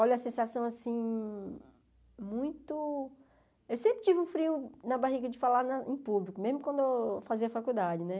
Olha, a sensação, assim, muito... Eu sempre tive um frio na barriga de falar em público, mesmo quando eu fazia faculdade, né?